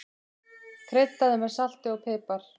Kryddaðu með salti og pipar.